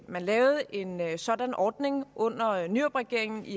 man lavede en sådan ordning under nyrupregeringen i